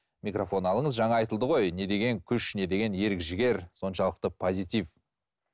микрофон алыңыз жаңа айтылды ғой не деген күш не деген ерік жігер соншылықты позитив